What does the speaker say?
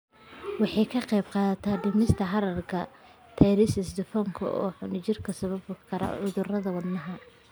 Waxay ka qaybqaadataa dhimista heerarka triglycerides, dufanka xun ee jirka oo sababi kara cudurrada wadnaha.